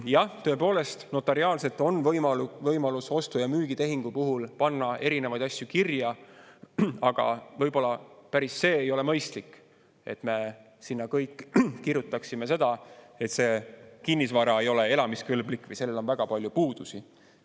Jah, tõepoolest, notariaalselt on võimalus ostu‑ ja müügitehingu puhul panna erinevaid asju kirja, aga võib-olla ei ole see päris mõistlik, et me kõik kirjutaksime sinna, et see kinnisvara ei ole elamiskõlblik või sellel on väga palju puudusi.